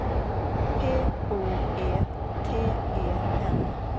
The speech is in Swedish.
P O E T E N